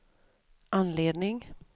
anledning